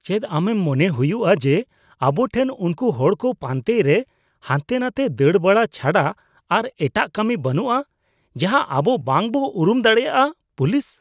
ᱪᱮᱫ ᱟᱢᱮᱢ ᱢᱚᱱᱮ ᱦᱩᱭᱩᱜᱼᱟ ᱡᱮ ᱟᱵᱚ ᱴᱷᱮᱱ ᱩᱱᱠᱩ ᱦᱚᱲ ᱠᱚ ᱯᱟᱟᱱᱛᱮᱭ ᱨᱮ ᱦᱟᱱᱛᱮᱼᱱᱟᱛᱮ ᱫᱟᱹᱲ ᱵᱟᱲᱟ ᱪᱷᱟᱰᱟ ᱟᱨ ᱮᱴᱟᱜ ᱠᱟᱹᱢᱤ ᱵᱟᱹᱱᱩᱜᱼᱟ ᱡᱟᱸᱦᱟ ᱟᱵᱚ ᱵᱟᱝ ᱵᱚ ᱩᱨᱩᱢ ᱫᱟᱲᱮᱭᱟᱜᱼᱟ ᱾ (ᱯᱩᱞᱤᱥ)